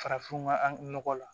Farafinna an nɔgɔ la